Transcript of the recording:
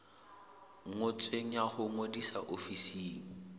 ngotsweng ya ho ngodisa ofising